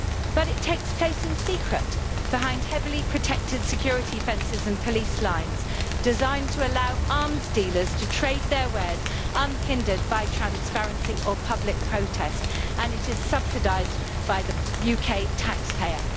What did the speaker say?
But it takes place in secret, behind heavily protected security fences and police lines designed to allow arms dealers to trade their wares unhindered by transparency or public protest, and it is subsidised by the UK taxpayer.